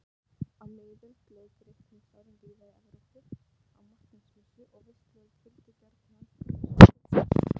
Á miðöldum lauk reikningsárinu víða í Evrópu á Marteinsmessu og veisluhöld fylgdu gjarnan þessum skuldadögum.